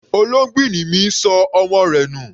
Olóngbìnní mi ṣọ ọmọ rẹ̀ nù.